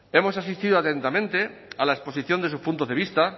hemos asistido atentamente a la exposición de su punto de vista